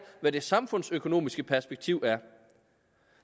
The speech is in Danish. hvad det samfundsøkonomiske perspektiv